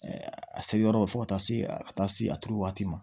a se yɔrɔ fo ka taa se a ka taa se a turu waati ma